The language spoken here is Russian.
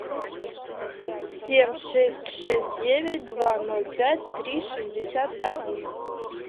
семь шесть шесть девять два ноль пять три шестьдесят один